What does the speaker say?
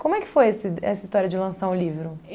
Como é que foi esse de essa história de lançar um livro?